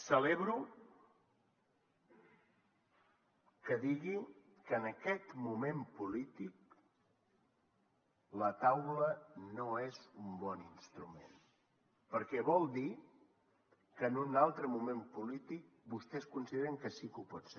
celebro que digui que en aquest moment polític la taula no és un bon instrument perquè vol dir que en un altre moment polític vostès consideren que sí que ho pot ser